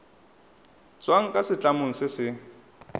tswang kwa setlamong se se